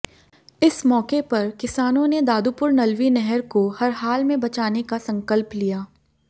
इस मौके पर किसानों ने दादुपुर नलवी नहर को हरहाल में बचाने का संकल्प लिया